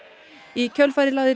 í kjölfarið lagði